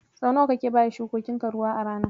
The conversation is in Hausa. Sau nawa kake baya shukokinka ruwa a rana?